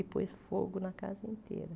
E pôs fogo na casa inteira.